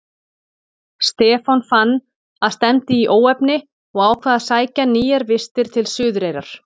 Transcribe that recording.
Stefán fann að stefndi í óefni og ákvað að sækja nýjar vistir til Suðureyrar.